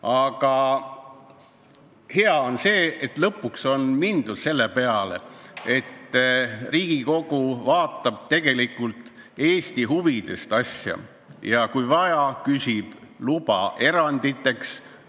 Aga hea on see, et lõpuks ometi Riigikogu läheneb asjale, lähtudes Eesti huvidest, ja kui vaja, küsib luba eranditeks.